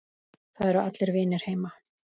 Það eru allir vinir heima.